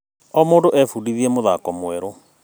O mũndũ no ebundithie mũthako mwerũ.